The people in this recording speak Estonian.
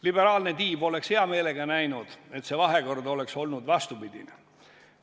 Liberaalne tiib oleks hea meelega näinud, et see vahekord oleks olnud vastupidine.